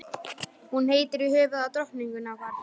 Hún heitir í höfuðið á drottningunni okkar.